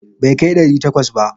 Bai kai ɗari takwas ba.